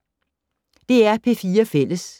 DR P4 Fælles